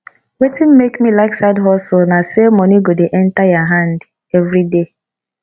wetin make me like side hustle na sey moni go dey enta your hand everyday